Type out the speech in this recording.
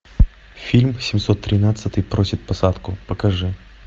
фильм семьсот тринадцатый просит посадку покажи